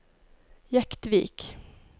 Jektvik